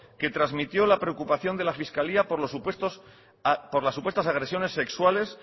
que trasmitió la preocupación de la fiscalía por las supuestas agresiones sexuales